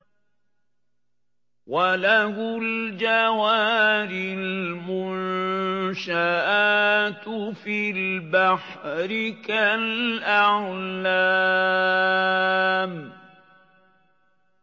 وَلَهُ الْجَوَارِ الْمُنشَآتُ فِي الْبَحْرِ كَالْأَعْلَامِ